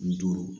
Ni duuru